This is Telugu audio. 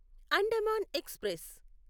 అండమాన్ ఎక్స్ప్రెస్